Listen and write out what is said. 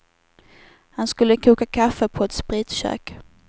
Han skulle koka kaffe på ett spritkök.